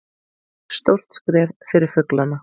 Stórt skref fyrir fuglana